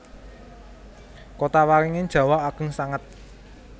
Kotawaringin jawah ageng sanget